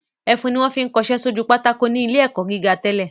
Ẹfun ni wọ́n fi ń kọṣẹ́ sójú pátákó ní ilé ẹ̀kọ́ gíga tẹ́lẹ̀